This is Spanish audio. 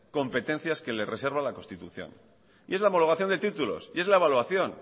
competencias que les reserva la constitución y es la homologación de títulos y es la evaluación